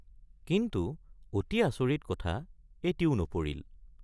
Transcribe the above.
কিন্তু অতি আচৰিত কথা এটিও নপৰিল।